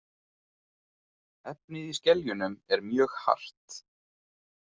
Efnið í skeljunum er mjög hart.